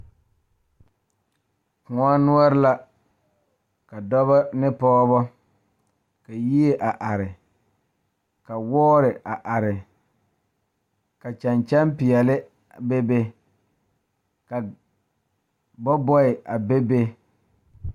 Kõɔ noɔre la ka dɔɔba ne pɔgeba ka yie a are ka Wɔɔre a are ka kyɛkyɛpeɛle bebe ka bɔbɔɛ a bebe.